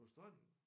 På stranden